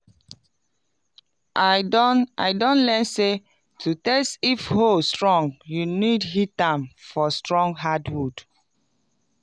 i don i don learn say to test if hoe strong you need hit am for strong hardwood.